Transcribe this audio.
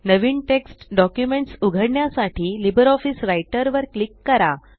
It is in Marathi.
नवीन टेक्स्ट डॉक्युमेंट्स उघडण्यासाठी लिब्रिऑफिस राइटर वर क्लिक करा